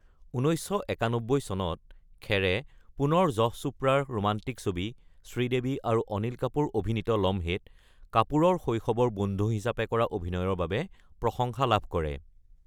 ১৯৯১ চনত, খেৰে পুনৰ যশ চোপড়াৰ ৰোমান্টিক ছবি শ্ৰীদেৱী আৰু অনিল কাপুৰ অভিনীত লম্হে ত কাপুৰৰ শৈশবৰ বন্ধু হিচাপে কৰা অভিনয়ৰ বাবে প্ৰশংসা লাভ কৰে।